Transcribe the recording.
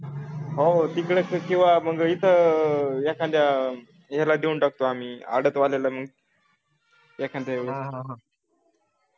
हो तिकडं किंवा मग इथं एखाद्या ह्याला देऊन टाकतो आम्ही आडात वाल्याला एखाद्या वेळेला